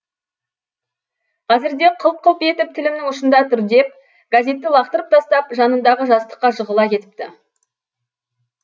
қазірде қылп қылп етіп тілімнің ұшында тұр деп газетті лақтырып тастап жанындағы жастыққа жығыла кетіпті